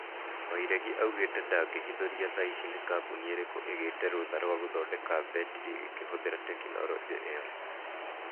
Wairegi, augĩte ndangĩhithũrĩa thaici nĩ kambuni ĩrĩkũ ĩgĩte rũtha rwa gũthodeka mbetri ĩkĩhũthĩra tekinolojĩa ĩyo